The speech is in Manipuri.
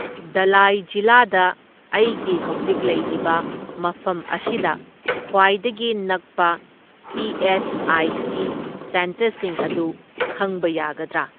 ꯙꯂꯥꯏ ꯖꯤꯂꯥꯗ ꯑꯩꯒꯤ ꯍꯧꯖꯤꯛ ꯂꯩꯔꯤꯕ ꯃꯐꯝ ꯑꯁꯤꯗ ꯈ꯭ꯋꯥꯏꯗꯒꯤ ꯅꯛꯄ ꯏ ꯑꯦꯁ ꯑꯥꯏ ꯁꯤ ꯁꯦꯟꯇꯔꯁꯤꯡ ꯑꯗꯨ ꯈꯪꯕ ꯌꯥꯒꯗ꯭ꯔꯥ?